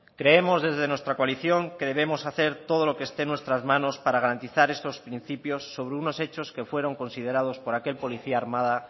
creemos desde nuestra coalición que debemos hacer todos lo que esté en nuestra manos para garantizar estos principios sobre unos hechos que fueron considerados por aquel policía armada